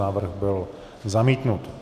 Návrh byl zamítnut.